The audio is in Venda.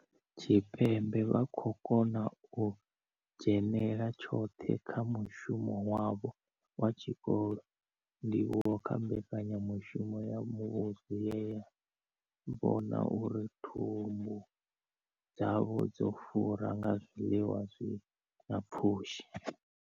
Tshipembe vha khou kona u dzhenela tshoṱhe kha mushumo wavho wa tshikolo, ndivhuwo kha mbekanyamushumo ya muvhuso ye ya vhona uri thumbu dzavho dzo fura nga zwiḽiwa zwi na pfushi.